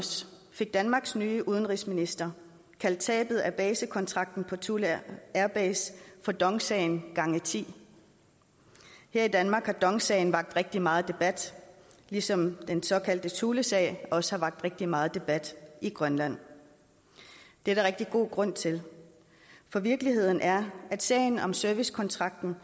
fik danmarks nye udenrigsminister kaldt tabet af basekontrakten på thule air base for dong sagen gange tiende her i danmark har dong sagen vakt rigtig meget debat ligesom den såkaldte thulesag også har vakt rigtig meget debat i grønland det er der rigtig god grund til for virkeligheden er at sagen om servicekontrakten